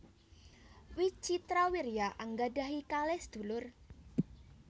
Wicitrawirya anggadhahi kalih sadulur